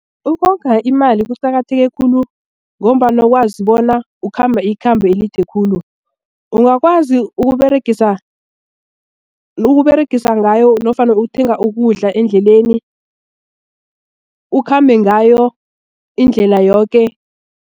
Ukonga imali kuqakatheke khulu ngombana ukwazi bona ukhamba ikhambo elide khulu ungakwazi ukuberegisa ngayo nofana ukuthenga ukudla endleleni ukhambe ngayo indlela yoke.